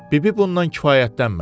Bibi bundan kifayətlənmədi.